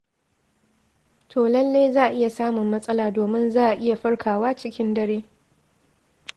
To lallai za a iya samun matsala domin za a iya farkawa cikin dare.